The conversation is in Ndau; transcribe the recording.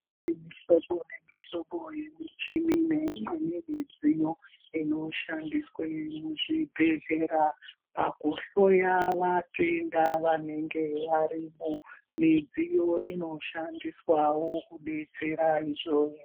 Mihlobo mihlobo yemichini neimweni midziyo ino shandiswa muzvi bhedhlera pakuhloya vatenda vanenge varimo midziyo ino shandiswa wo kudetsera .